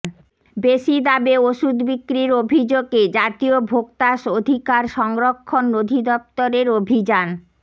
বেশি দামে ওষুধ বিক্রির অভিযোগে জাতীয় ভোক্তা অধিকার সংরক্ষণ অধিদফতরের অভিযান